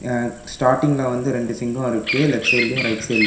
அ ஸ்டார்டிங்ல வந்து ரெண்டு சிங்கோ இருக்கு லெஃப்ட் சைடுலயு ரைட் சைடுலயு .